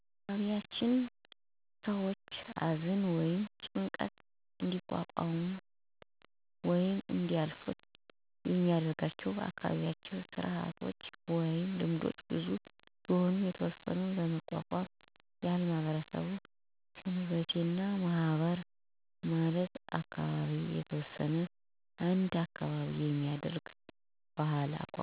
በአካባቢያችን ሰዎች አዘን ወይም ጭንቀት እንዲቋቋሙት ወይም እንዲያልፋት የሚረዷቸው አካባቢያዉ ስርአቶች ወይም ልምዶች ብዙ ቢሆኑም የተወሰኑት ለመጠቆም ያህል ማህበር እና ሰንበቴ ናቸው። ማህበር ማለት በአካባቢያችን የተወሰኑ አንድ አካባቢ መንደር የሚኖሩ አርሶ አደሮች በበአል ቀን ማለትም ወራዊ በአልን ምክንያት በማድረግ ለምሳሌ የባለእግዚአብሔር፣ የማሪም፣ የሚካኤሌ እና ወዘተ በአላት ከአንድ ቤት በወረፋ ድግስ አየተዘዋወሩ መብላት፣ መጠጣት እና መጫወቻ መንገድ ሲሆን ለምሳሌ አንድ የማህበሩ አባል ቤተሰብ ቢሞትበት ሀሉም የማህበሩ አባለት የዝን (እንጀራ እና ጠላ) ከቤታቸው ይዘዉ በመምጣት ባለ መከራ ሰዎችን አዘናቸውን ይጋራሉ።